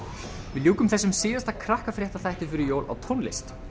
við ljúkum þessum síðasta Krakkafréttatíma fyrir jól á tónlist